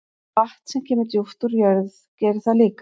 Vatn sem kemur djúpt úr jörð gerir það líka.